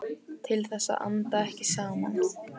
Til þess að anda ekki saman.